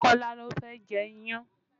Kọ́lá ló fẹ́ jẹ iyán